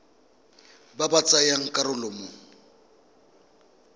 ba ba tsayang karolo mo